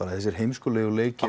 þessir heimskulegu leikir